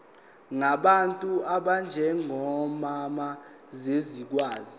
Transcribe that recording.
ngabantu abanjengomama zizokwazi